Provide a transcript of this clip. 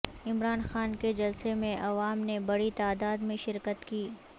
عمران خان کے جلسے میں عوام نے بڑی تعداد میں شرکت کی